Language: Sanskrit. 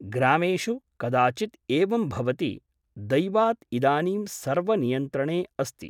ग्रामेषु कदाचित् एवं भवति । दैवात् इदानीं सर्व नियन्त्रणे अस्ति ।